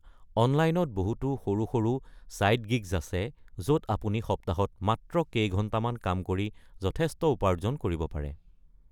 অনলাইনত বহুতো সৰু সৰু ছাইড গিগ্ছ আছে য’ত আপুনি সপ্তাহত মাত্ৰ কেইঘণ্টামান কাম কৰি যথেষ্ট উপাৰ্জন কৰিব পাৰে।